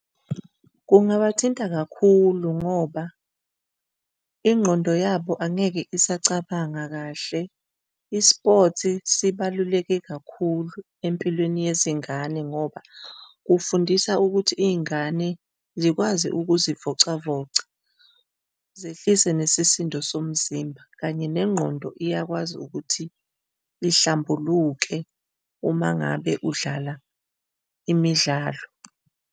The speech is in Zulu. Kungabathinta kakhulu ngoba ingqondo yabo angeke isacabanga kahle. ispothi sibaluleke kakhulu empilweni yezingane ngoba kufundisa ukuthi izingane zikwazi ukuzivocavoca, zehlise nesisindo somzimba kanye nengqondo iyakwazi ukuthi ihlambuluke uma ngabe udlala imidlalo.